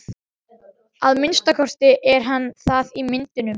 Að minnsta kosti er hann það í myndunum.